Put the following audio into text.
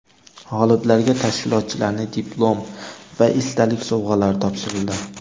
G‘oliblarga tashkilotchilarning diplom va esdalik sovg‘alari topshirildi.